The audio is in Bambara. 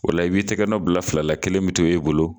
O la i b'i tigɛ nɔ bila fila la, kelen mi to e bolo